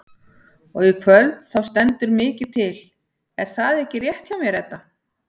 Og í kvöld þá stendur mikið til er það ekki rétt hjá mér Edda?